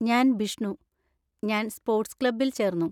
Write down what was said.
ഞാൻ ബിഷ്ണു, ഞാൻ സ്പോർട്സ് ക്ലബ്ബിൽ ചേർന്നു.